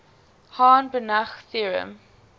hahn banach theorem